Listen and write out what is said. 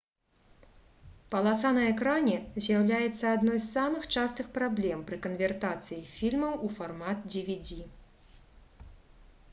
паласа на экране з'яўляецца адной з самых частых праблем пры канвертацыі фільмаў у фармат dvd